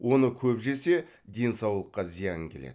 оны көп жесе денсаулыққа зиян келеді